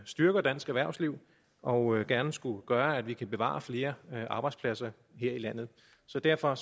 styrker dansk erhvervsliv og gerne skulle gøre at vi kan bevare flere arbejdspladser her i landet så derfor